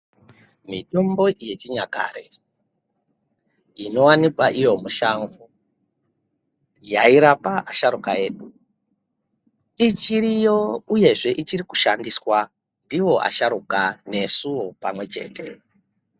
Mitombo yechinyakare inowanikwa iyo mushango yairapa asharukwa edu ichiriyo uyezve ichiri kushandiswa ndiwo asharukwa nesuwo pamwe chete.